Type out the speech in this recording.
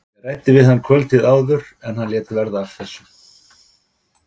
Ég. ræddi við hann kvöldið áður en hann. lét verða af þessu.